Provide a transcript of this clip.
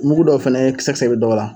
Mugu dɔw fɛnɛ kisɛ kisɛ bɛ dɔw la.